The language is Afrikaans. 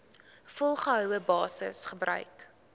volgehoue basis gebruik